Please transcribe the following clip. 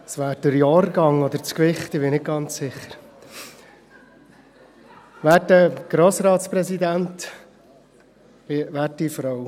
Das wäre der Jahrgang oder das Gewicht, ich bin nicht ganz sicher.